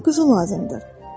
Mənə quzu lazımdır.